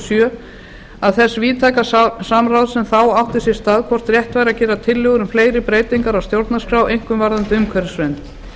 sjö og þess víðtæka samráðs sem þá átti sér stað hvort rétt væri að gera tillögur um fleiri breytingar á stjórnarskrá einkum varðandi umhverfisvernd